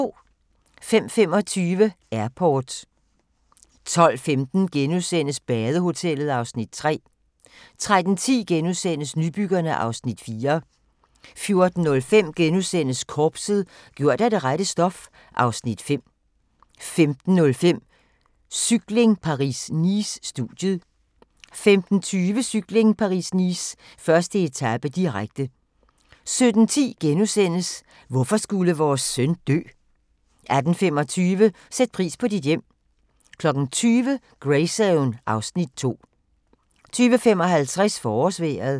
05:25: Airport 12:15: Badehotellet (Afs. 3)* 13:10: Nybyggerne (Afs. 4)* 14:05: Korpset - gjort af det rette stof (Afs. 5)* 15:05: Cykling: Paris-Nice - studiet 15:20: Cykling: Paris-Nice - 1. etape, direkte 17:10: Hvorfor skulle vores søn dø? * 18:25: Sæt pris på dit hjem 20:00: Greyzone (Afs. 2) 20:55: Forårsvejret